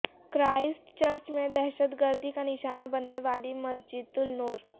Christ church میں دہشت گردی کا نشانہ بننے والی مسجد النور